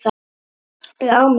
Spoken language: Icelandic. Ég á mig sjálf.